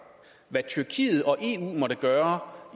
hvad tyrkiet og eu måtte gøre